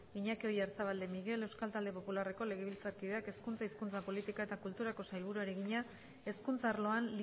iñaki oyarzabal de miguel euskal talde popularreko legebiltzarkideak hezkuntza hizkuntza politika eta kulturako sailburuari egina hezkuntza arloan